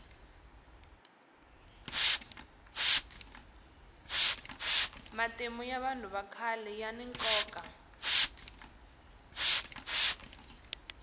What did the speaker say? matimu ya vanhu vakhale yani nkoka